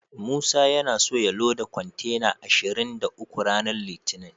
Musa yana so ya loda kontena ashirin da uku ranar litinin.